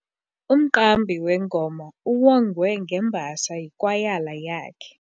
Umqambi wengoma uwongwe ngembasa yikwayala yakhe.